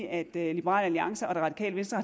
at liberal alliance og det radikale venstre